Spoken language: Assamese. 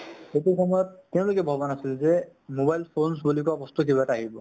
সেইটো সময়ত , তেওঁলোকে ভবা নাচিল যে mobile phones বুলি কোৱা কিবা বস্তু এটা আহিব ।